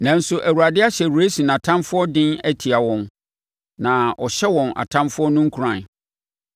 Nanso Awurade ahyɛ Resin atamfoɔ den atia wɔn, na ɔhyɛ wɔn atamfoɔ no nkuran.